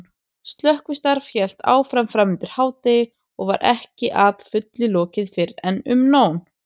Slökkvistarf hélt áfram framundir hádegi og var ekki að fullu lokið fyrren um nón.